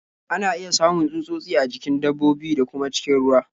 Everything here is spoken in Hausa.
Ana iya samun tsutsotsi a jikin dabbobi, da kuma cikin ruwa.